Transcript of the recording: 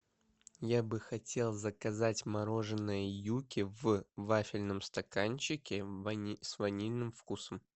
я бы хотел заказать мороженое юки в вафельном стаканчике с ванильным вкусом